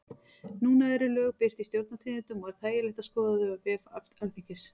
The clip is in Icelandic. Núna eru lög birt í Stjórnartíðindum og er þægilegt að skoða þau á vef Alþingis.